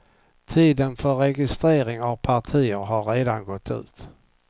Tiden för registrering av partier har redan gått ut.